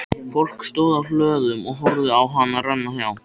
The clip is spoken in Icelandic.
Fólk stóð á hlöðum og horfði á hana renna hjá.